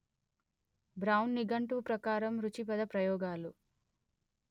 brown నిఘంటువు ప్రకారం రుచి పదప్రయోగాలు